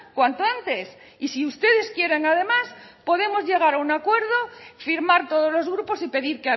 cuanto antes y si ustedes quieren además podemos llegar a un acuerdo firmar todos los grupos y pedir